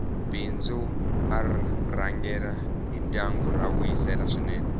bindzu r rhangela hi ndyangu ra vuyisela swinene